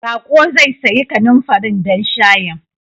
Baƙo zai sayi kanumfarin don shayin.